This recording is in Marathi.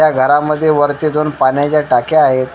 त्या घरामध्ये वरती दोन पाण्याच्या टाक्या आहेत.